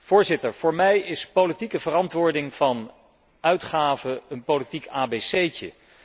Voorzitter, voor mij is politieke verantwoording van uitgaven een politiek abc'tje.